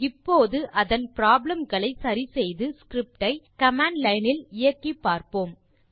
இப்போது அதன் ப்ராப்ளம் களை சரி செய்து ஸ்கிரிப்ட் ஐ கமாண்ட் லைன் இல் இயக்கிப் பார்ப்போம்